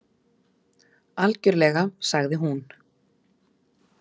Algjörlega, sagði hún.